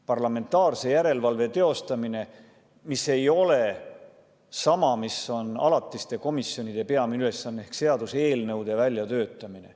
Parlamentaarse järelevalve teostamine ei ole sama, mis on alatiste komisjonide peamine ülesanne ehk seaduseelnõude välja töötamine.